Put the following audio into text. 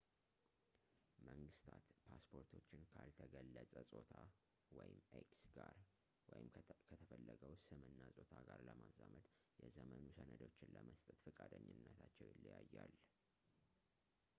መንግስታት ፓስፖርቶችን ካልተገለጸ ጾታ x ጋር ወይም ከተፈለገው ስም እና ጾታ ጋር ለማዛመድ የዘመኑ ሰነዶችን ለመስጠት ፈቃደኝነታቸው ይለያያል፡፡